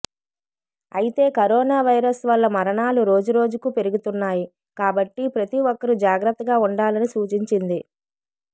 అయితే corona virus వల్ల మరణాలు రోజురోజుకూ పెరుగుతున్నాయి కాబట్టి ప్రతి ఒక్కరు జాగ్రత్తగా ఉండాలని సూచించింది